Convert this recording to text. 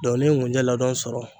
n'i ye nkunjɛ ladɔn sɔrɔ.